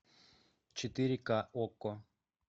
четыре к окко